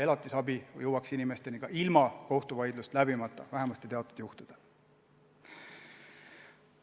Elatisabi peaks jõudma inimesteni ka ilma kohtuvaidlust läbimata, vähemasti teatud juhtudel.